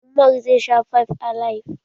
Umar zai sha fybe alib.